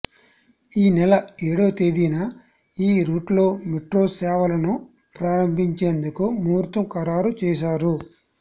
ఈ నెల ఏడో తేదీన ఈ రూట్లో మెట్రో సేవలను ప్రారంభించేందుకు ముహుర్తం ఖరారు చేశారు